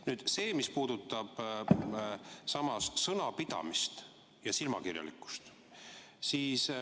Nüüd sellest, mis puudutab sõnapidamist ja silmakirjalikkust.